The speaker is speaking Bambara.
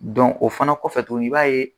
o fana kɔfɛ tun i b'a ye